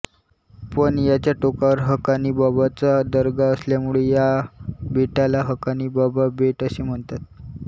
पण याच्या टोकावर हकानी बाबाचा दर्गा असल्यामुळे या बेटाला हकानी बाबा बेट असे म्हणतात